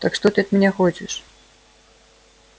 так что ты от меня хочешь